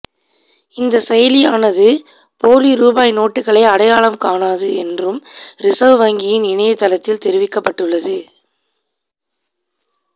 இந்தச் செயலியானது போலி ரூபாய் நோட்டுகளை அடையாளம் காணாது என்றும் ரிசர்வ் வங்கியின் இணையதளத்தில் தெரிவிக்கப்பட்டுள்ளது